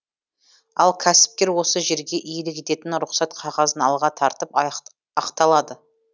ал кәсіпкер осы жерге иелік ететін рұқсат қағазын алға тартып ақталады